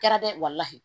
Kɛra dɛ